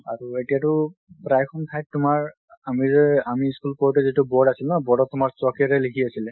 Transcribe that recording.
আৰু এতিয়া টো প্ৰাই সংখ্যাই তোমাৰ, আমিযে~ আমি school কৰোতে যিটো board আছিল ন board অত তোমাৰ chalk এৰে লিখি আছিলে।